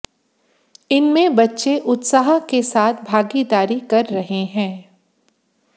इनमें बच्चे उत्साह के साथ भागीदारी कर रहे हैं